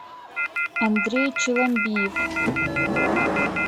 андрей челомбиев